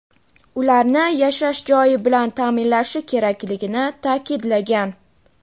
ularni yashash joyi bilan ta’minlashi kerakligini ta’kidlagan.